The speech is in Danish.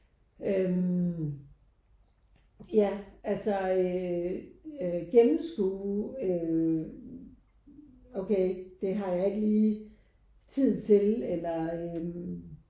Øh ja altså øh gennemskue øh okay det har jeg ikke lige tid til eller øh